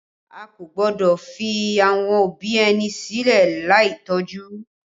A kò gbọ́dọ̀ fi àwọn òbí ẹni sílẹ̀ láì tọ́jú